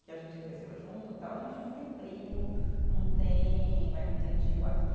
Que a gente cresceu junto, tal, a gente não tem primo, não tem, vai não tem tio aqui.